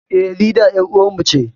Eh, Linda ƴar uwar mu ce